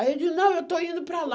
Aí eu disse, não, eu estou indo para lá.